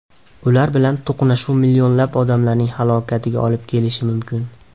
Ular bilan to‘qnashuv millionlab odamlarning halokatiga olib kelishi mumkin.